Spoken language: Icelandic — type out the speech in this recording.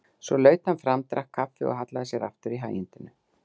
Svo laut hann fram, drakk kaffi og hallaði sér aftur í hægindinu.